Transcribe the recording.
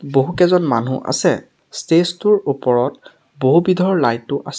বহুকেইজন মানুহ আছে ষ্টেজ টোৰ ওপৰত বহুবিধৰ লাইট ও আছ--